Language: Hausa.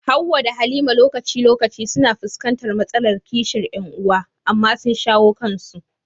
Hawwa da Halima lokaci-lokaci suna fuskantar matsalar kishin ƴan uwa, amma sun shawo kansu.